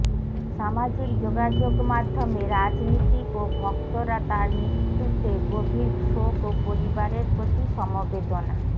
সামাজিক যোগাযোগমাধ্যমে রাজনীতিক ও ভক্তরা তাঁর মৃত্যুতে গভীর শোক ও পরিবারের প্রতি সমবেদনা